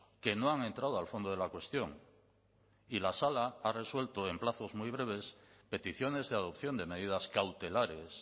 que no han entrado al fondo de la cuestión y la sala ha resuelto en plazos muy breves peticiones de adopción de medidas cautelares